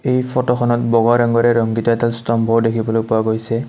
এই ফটোখনত বগা ৰঙেৰে ৰংগীত এডাল স্তম্ভও দেখিবলৈ পোৱা গৈছে।